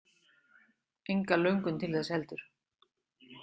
Enga löngun til þess heldur.